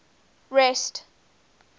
rest